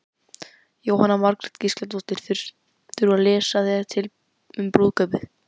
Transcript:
Jóhanna Margrét Gísladóttir: Þurftirðu að lesa þér til um brúðkaupið?